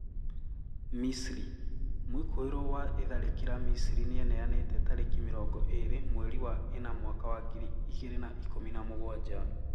Misri: Mwĩkũĩrwo wa itharĩkĩra Misri nĩeneanĩte tariki mirongo iri mweri wa ina mwaka wa ngiri igiri na ikumi na mugwanja